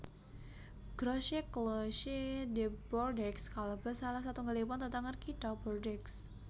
Grosse Cloche de Bordeaux kalebet salah satunggalipun tetenger Kitha Bordeaux